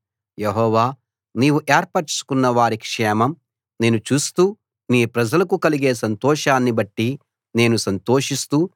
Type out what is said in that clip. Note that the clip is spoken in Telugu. యెహోవా నీవు ఏర్పరచుకున్నవారి క్షేమం నేను చూస్తూ నీ ప్రజలకు కలిగే సంతోషాన్ని బట్టి నేను సంతోషిస్తూ